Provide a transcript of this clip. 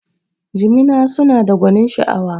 Jimina suna da gwanin sha'awa